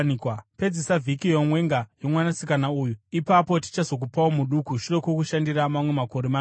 Pedzisa vhiki youmwenga yomwanasikana uyu; ipapo tichazokupawo muduku shure kwokushandira mamwe makore manomwe.”